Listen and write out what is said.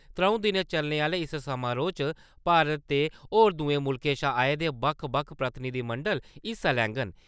त्रं`ऊ दिन चलने आहले इस समारोह् च भारत ते होर दुए मुल्खें शा आये दे बक्ख प्रतिनिधिमंडल हिस्सा लैगंन।